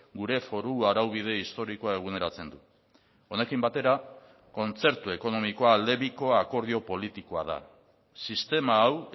gure foru araubide historikoa eguneratzen du honekin batera kontzertu ekonomikoa aldebiko akordio politikoa da sistema hau